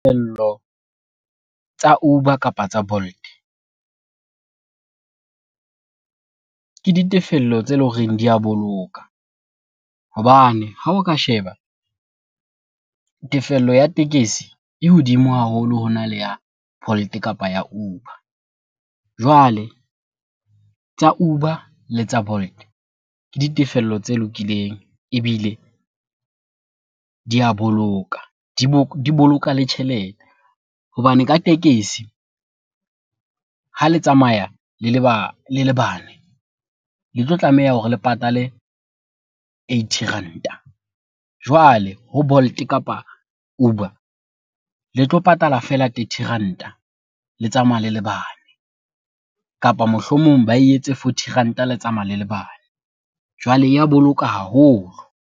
Tsa Uber kapa tsa Bolt ke ditefello tse leng hore di a boloka. Hobane ha o ka sheba tefello ya tekesi e hodimo haholo hona le ya Bolt kapa Uber. Jwale tsa Uber le tsa Bolt ke ditefello tse lokileng ebile di a boloka. Di boloka le tjhelete hobane ka tekesi ha le tsamaya le le bane, le tlo tlameha hore le patale eighty ranta. Jwale ho Bolt kapa Uber le tlo patala feela thirty ranta le tsamaya le le bane, kapa mohlomong ba e etse forty ranta le tsamaya le le bane. Jwale ya boloka haholo.